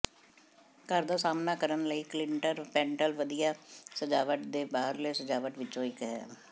ਘਰ ਦਾ ਸਾਹਮਣਾ ਕਰਨ ਲਈ ਕਲਿੰਟਰ ਪੈਨਲ ਵਧੀਆ ਸਜਾਵਟ ਦੇ ਬਾਹਰਲੇ ਸਜਾਵਟ ਵਿੱਚੋਂ ਇੱਕ ਹੈ